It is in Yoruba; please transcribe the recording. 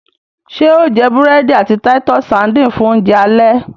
ṣe o jé burẹdi àti Titus sardines fun Oúnjẹ alẹ́?